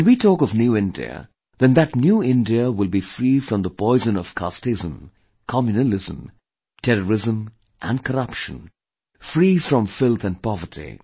When we talk of new India then that new India will be free from the poison of casteism, communalism, terrorism and corruption; free from filth and poverty